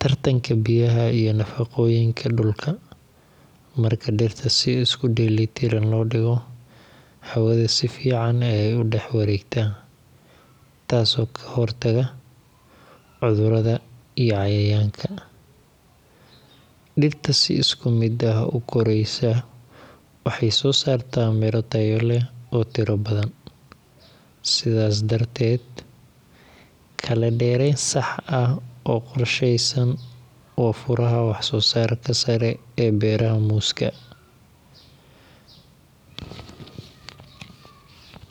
tartanka biyaha iyo nafaqooyinka dhulka. Marka dhirta si isku dheelitiran loo dhigo, hawada si fiican ayay u dhex wareegtaa, taas oo ka hortagta cudurrada iyo cayayaanka. Dhirta si isku mid ah u koraysa waxay soo saartaa miro tayo leh oo tiro badan. Sidaas darteed, kala dheerayn sax ah oo qorshaysan waa furaha wax-soo-saarka sare ee beeraha muuska.